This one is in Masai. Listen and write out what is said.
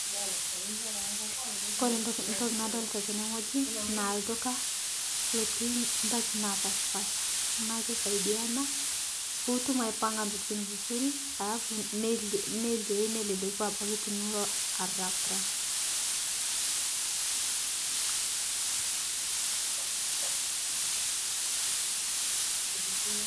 Kore ntoki nadolita tenewueji naa ldukaa looti ndaaki napaashpasha. Naa keisaidia ena puutum aipaanga ntokitin vizuri aas neloe neleleku abaki tiniloo araprap.